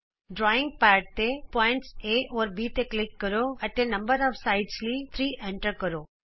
drawing pad ਤੇ ਬਿੰਦੂ A B ਤੇ ਕਲਿਕ ਕਰੋ ਅਤੇ ਭਾਗਾਂ ਦੀ ਸੰਖਿਆ ਲਈ 3 ਐਂਟਰ ਕਰੋ